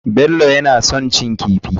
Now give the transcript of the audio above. Bello kamar shan kifi.